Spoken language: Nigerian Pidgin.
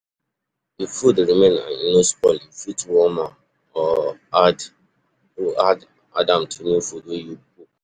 If food remain and e no spoil, you fit warn am or add or add am to new food wey you cook